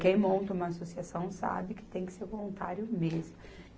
Quem monta uma associação sabe que tem que ser voluntário mesmo.